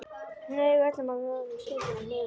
Hneig öllum að óvörum skyndilega niður úti á túni.